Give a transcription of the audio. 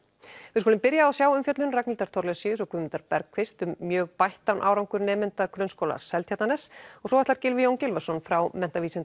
við skulum byrja á að sjá umfjöllun Ragnhildar Thorlacius og Guðmundar Bergkvist um mjög bættan árangur nemenda Grunnskóla Seltjarnarness og svo ætlar Gylfi Jón Gylfason frá